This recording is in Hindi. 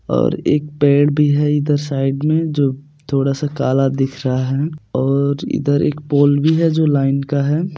--और एक पेड़ भी है इधर साइड में जो थोड़ा सा काला दिख रहा है और इधर पोल भी है जो लाइन का है।